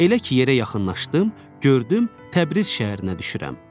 Elə ki, yerə yaxınlaşdım, gördüm Təbriz şəhərinə düşürəm.